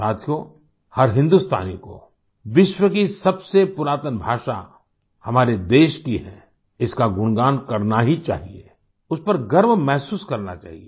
साथियों हर हिन्दुस्तानी को विश्व की सबसे पुरातन भाषा हमारे देश की है इसका गुणगान करना ही चाहिए उस पर गर्व महसूस करना चाहिए